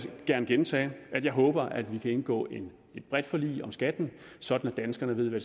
gerne gentage at jeg håber at vi kan indgå et bredt forlig om skatten sådan at danskerne ved hvad